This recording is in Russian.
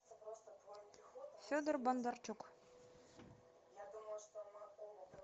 федор бондарчук